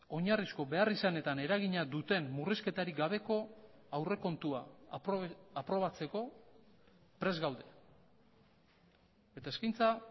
oinarrizko beharrizanetan eragina duten murrizketarik gabeko aurrekontua aprobatzeko prest gaude eta eskaintza